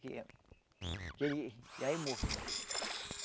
Que que ele já é morto.